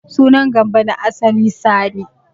Sunan Gambo na asali Sani.